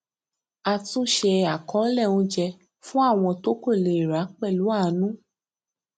àtúnṣe àkọọlẹ oúnjẹ fún àwọn tó kò le ra pẹlú àánú